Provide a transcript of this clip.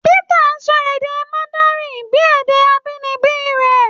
Peter sọ èdè Mandarin bíi èdè abínibí rẹ̀.